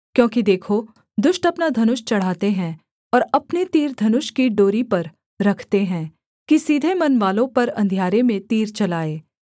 क्योंकि देखो दुष्ट अपना धनुष चढ़ाते हैं और अपने तीर धनुष की डोरी पर रखते हैं कि सीधे मनवालों पर अंधियारे में तीर चलाएँ